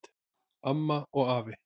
Amma og afi